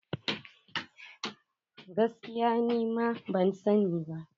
Gaskiya ni ma ban sani ba.